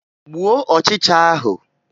Gbuo ọchịcha ahụ!